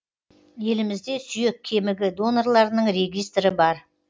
елімізде сүйек кемігі донорларының регистрі бар